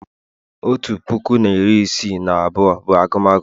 Otu puku na iri ise na abụọ bụ agumagu